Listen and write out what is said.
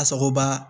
A sagoba